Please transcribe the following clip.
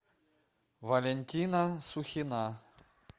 валентина сухина